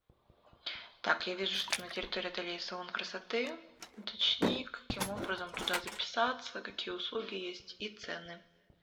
так я вижу что на территории отеля есть салон красоты уточни каким образом туда записаться какие услуги есть и цены